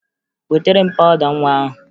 Wetara m pawụda nwa ahụ!